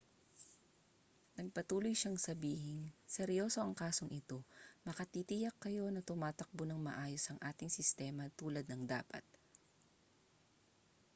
nagpatuloy siyang sabihing seryoso ang kasong ito makatitiyak kayo na tumatakbo nang maayos ang ating sistema tulad ng dapat